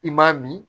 I m'a min